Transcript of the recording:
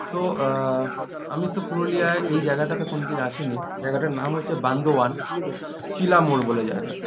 তো আ আমি তো পুরুলিয়ায় এই জায়গাটাতে কোনদিন আসিনি জায়গাটার নাম হচ্ছে বান্দোয়ান চিলা মোর বলে জায়গা